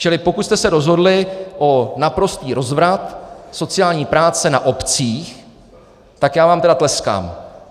Čili pokud jste se rozhodli pro naprostý rozvrat sociální práce na obcích, tak já vám tedy tleskám.